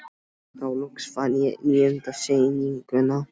Þá loks fann ég níundu sýninguna.